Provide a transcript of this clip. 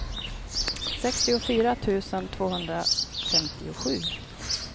sextiofyra tusen tvåhundrafemtiosju